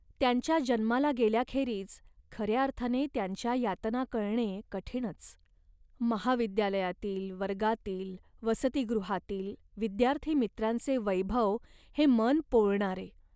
त्यांच्या जन्माला गेल्याखेरीज खऱ्या अर्थाने त्यांच्या यातना कळणे कठीणच. महाविद्यालयातील, वर्गातील, वसतिगृहातील विद्यार्थी मित्रांचे वैभव हे मन पोळणारे